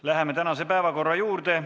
Läheme tänase päevakorrapunkti juurde.